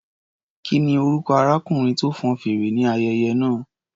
Kí ni orúkọ arákùnrin tó fọn fèrè ní ayẹyẹ náà?